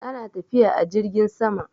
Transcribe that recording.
ana tafiya a jirgin sama